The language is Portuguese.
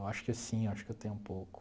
Eu acho que sim, eu acho que eu tenho um pouco.